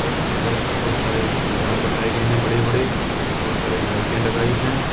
और उधर बहुत सारे पंडाल बनाए गए हैं बड़े बड़े बहुत सारे लाइटें लगाई हैं।